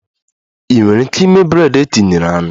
Ị nwere ike ịme bred e tinyere anụ?